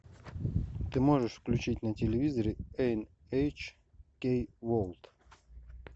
ты можешь включить на телевизоре эн эйч кей ворлд